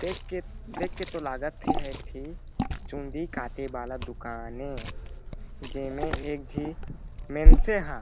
देख के देख के तो लागत हे एहा ठी चुंदी काटे वाला दुकान ए जेमे एक झी मेनसे हा--